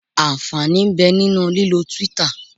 Ànfàní ń bẹ nínú lílọ Twitter.